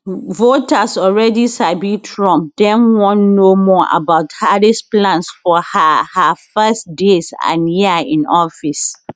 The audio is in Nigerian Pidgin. voters alreadi sabi trump dem wan know more about harris plans for her her first days and year in office